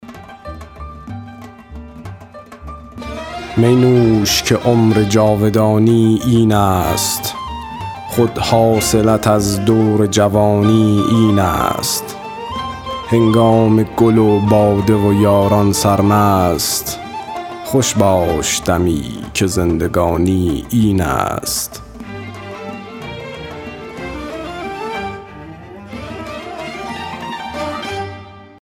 می نوش که عمر جاودانی این است خود حاصلت از دور جوانی این است هنگام گل و باده و یاران سرمست خوش باش دمی که زندگانی این است